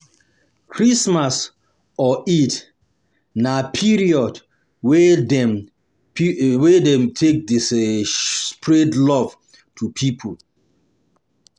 Christmas or Eid na period wey dem period wey dem take de spread love to pipo